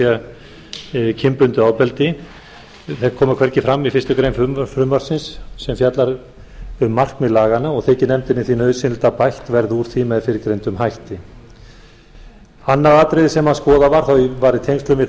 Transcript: er kynbundið ofbeldi þau koma hvergi fram í fyrstu grein frumvarpsins sem fjallar um markmið laganna og þykir nefndinni því nauðsynlegt að bætt verði úr því með fyrrgreindum hætti annað atriði sem skoðað var það var í tengslum við